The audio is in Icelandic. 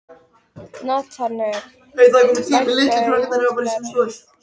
Natanael, lækkaðu í hátalaranum.